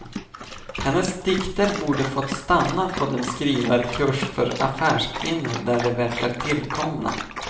Hennes dikter borde fått stanna på den skrivarkurs för affärskvinnor där de verkar tillkomna.